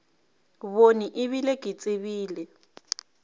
bone e bile ke tsebile